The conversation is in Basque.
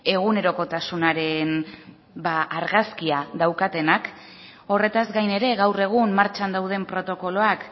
egunerokotasunaren argazkia daukatenak horretaz gain ere gaur egun martxan dauden protokoloak